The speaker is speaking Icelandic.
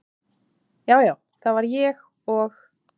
já, já það var ég og.